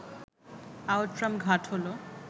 Outram Ghat হল